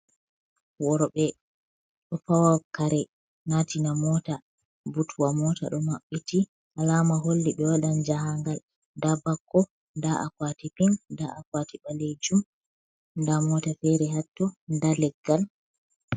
Worɓe ɗo fawa kare natina mota, butwa mota ɗo maɓɓiti alama holli ɓe waɗan jahagal, nda bakko nda akwati ton nda akwati ɓalejum nda mota fere hatto nda leggal.